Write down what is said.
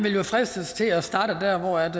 til herre så er det herre